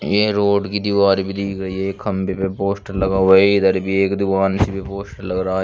यह रोड की दीवार भी दिख रही है खम्भे पे पोस्टर लगा हुआ है इधर भी एक दीवार पोस्टर लग रहा है।